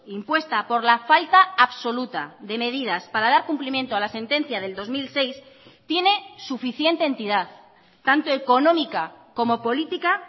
impuesta por la falta absoluta de medidas para dar cumplimiento a la sentencia del dos mil seis tiene suficiente entidad tanto económica como política